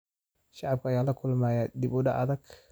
Shacabka ayaa la kulma dib u dhac adeeg.